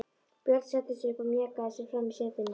Björn settist upp og mjakaði sér fram í setinu.